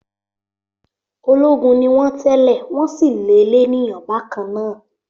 Ológun ni wọ́n tẹ́lẹ̀, wọ́n sì le lénìyàn bákan náà.